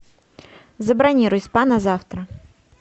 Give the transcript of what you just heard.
забронируй спа на завтра